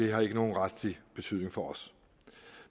har nogen retlig betydning for os